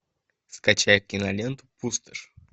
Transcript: скачай киноленту пустошь